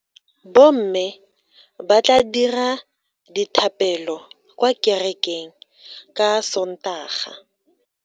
Bomme ba tla dira dithapelo kwa kerekeng ka Sontaga.